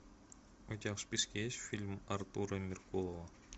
у тебя в списке есть фильм артура меркулова